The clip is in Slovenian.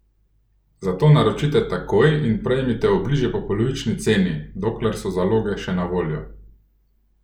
Zato naročite takoj in prejmite obliže po polovični ceni, dokler so zaloge še na voljo!